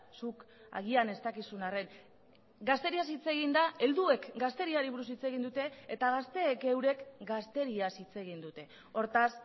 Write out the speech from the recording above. zuk agian ez dakizun arren gazteriaz hitz egin da helduek gazteriari buruz hitz egin dute eta gazteek eurek gazteriaz hitz egin dute hortaz